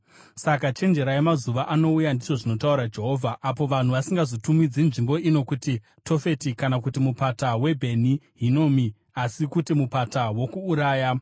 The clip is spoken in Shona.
Saka chenjerai, mazuva anouya, ndizvo zvinotaura Jehovha, apo vanhu vasingazotumidzi nzvimbo ino kuti Tofeti kana kuti Mupata waBheni Hinomi, asi kuti Mupata Wokuuraya.